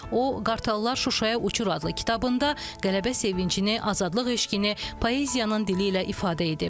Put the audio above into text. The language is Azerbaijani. O Qartallar Şuşaya uçur adlı kitabında qələbə sevincini, azadlıq eşqini poeziyanın dili ilə ifadə edib.